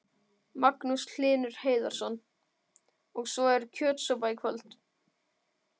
Magnús Hlynur Hreiðarsson: Og svo er kjötsúpa í kvöld?